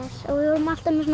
og við erum alltaf með svona